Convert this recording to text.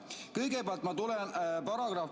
Kõigepealt ma tulen, paragrahv ...